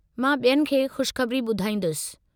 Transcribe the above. मां ॿियनि खे ख़ुशख़बरी ॿुधाईंदुसि!